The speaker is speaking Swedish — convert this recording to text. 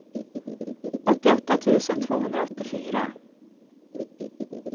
åttioåtta tusen tvåhundraåttiofyra